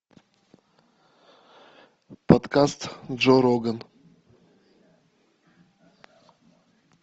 подкаст джо роган